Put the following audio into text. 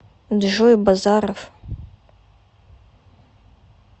джой базаров